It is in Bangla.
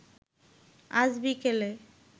আজ বিকেলে